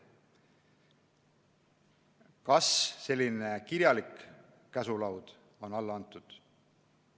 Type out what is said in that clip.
Kas selline kirjalik käsk on alla saadetud?